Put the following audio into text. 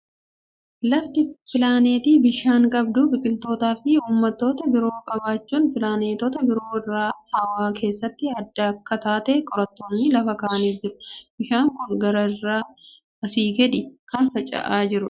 Lafti pilaanetii bishaan qabdu, biqiltootaa fi uumamoota biroo qabaachuun pilaanetoota biroo irraa hawwaa keessatti adda akka taate qorattoonni lafa kaa'anii jiru. Bishaan kun gaara irraa asii gadi kan fincaa'aa jirudha.